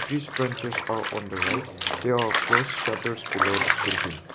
this purchase are on the road there are close shutters below the building.